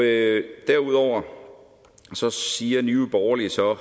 det derudover siger nye borgerlige så